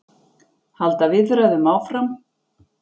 Halda viðræðum áfram